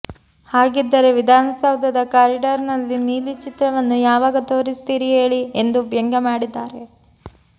ಹಾಗಿದ್ದರೆ ವಿಧಾನಸೌಧದ ಕಾರಿಡಾರ್ ನಲ್ಲಿ ನೀಲಿ ಚಿತ್ರವನ್ನು ಯಾವಾಗ ತೋರಿಸ್ತೀರಿ ಹೇಳಿ ಎಂದು ವ್ಯಂಗ್ಯಮಾಡಿದ್ದಾರೆ